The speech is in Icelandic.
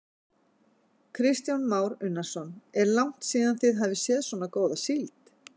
Kristján Már Unnarsson: Er langt síðan þið hafið séð svona góða síld?